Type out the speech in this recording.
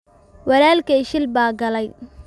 Walaalkey shil baa galay.